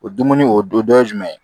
O dumuni o dun dɔ ye jumɛn ye